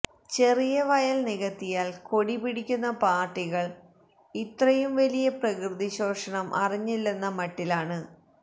ചെറിയ വയൽ നികത്തിയാൽ കൊടി പിടിക്കുന്ന പാർട്ടികൾ ഇത്രയും വലിയ പ്രകൃതി ശോഷണം അറിഞ്ഞില്ലെന്ന മട്ടിലാണ്